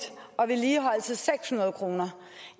og i vedligeholdelse seks hundrede kroner